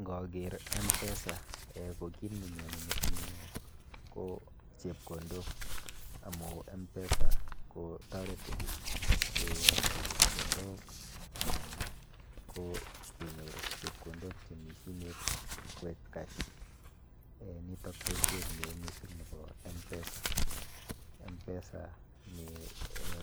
Nkaker m-pesa um ko kit nenyone metinyu ko chepkondok amu mpesa kotoreti keyokto chepkondok anan ko kenyor chepkondok chemi simet koek cash um nito boishet neo mising nepo m-pesa. M-pesa